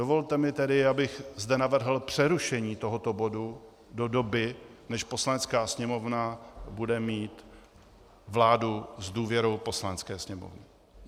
Dovolte mi tedy, abych zde navrhl přerušení tohoto bodu do doby, než Poslanecká sněmovna bude mít vládu s důvěrou Poslanecké sněmovny.